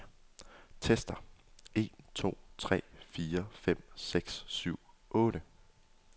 Tester en to tre fire fem seks syv otte.